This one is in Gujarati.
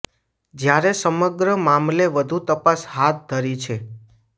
જ્યારે સમગ્ર મામલે વધુ તપાસ હાથ ધરી છે